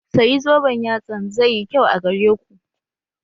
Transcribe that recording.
Sayi zoben yatsan zai yi kyau a gare ku